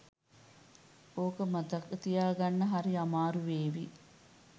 ඕක මතක තියාගන්න හරි අමාරු වේවි